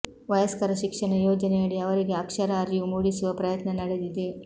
ವಯಸ್ಕರ ಶಿಕ್ಷಣ ಯೋಜನೆಯಡಿ ಅವರಿಗೆ ಅಕ್ಷರ ಅರಿವು ಮೂಡಿಸುವ ಪ್ರಯತ್ನ ನಡೆದಿದೆ